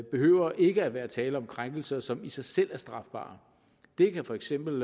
behøver ikke at være tale om krænkelser som i sig selv er strafbare der kan for eksempel